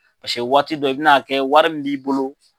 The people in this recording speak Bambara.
waati dɔ i bin'a kɛ wari min b'i bolo.